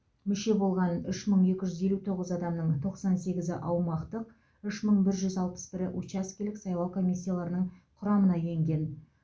мүше болған үш мың екі жүз елу тоғыз адамның тоқсан сегізі аумақтық үш мың бір жүз алпыс бірі учаскелік сайлау комиссияларының құрамына енген